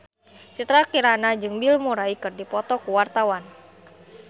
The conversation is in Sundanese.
Citra Kirana jeung Bill Murray keur dipoto ku wartawan